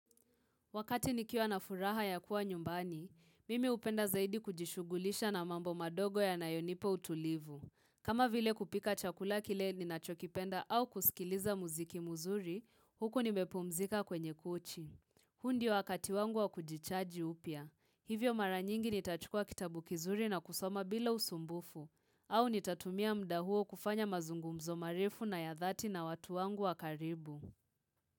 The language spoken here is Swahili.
Wakati nikiwa na furaha ya kuwa nyumbani, mimi hupenda zaidi kujishugulisha na mambo madogo yanayonipa utulivu. Kama vile kupika chakula kile ninachokipenda au kusikiliza mziki mzuri, huku nimepumzika kwenye kochi. Huu ndio wakati wangu wa kujichaji upya. Hivyo mara nyingi nitachukua kitabu kizuri na kusoma bila usumbufu. Au nitatumia muda huo kufanya mazungumzo marefu na ya dhati na watu wangu wa karibu.